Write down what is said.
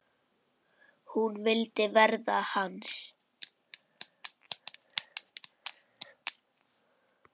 Hún vildi verða hans.